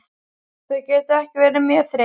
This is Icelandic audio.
Þau geta ekki verið mjög þreytt.